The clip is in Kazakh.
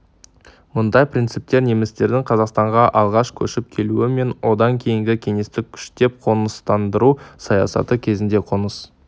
мұндай принциптер немістердің қазақстанға алғаш көшіп келуі мен одан кейінгі кеңестік күштеп қоныстандыру саясаты кезінде қоныс